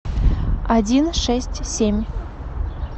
один шесть семь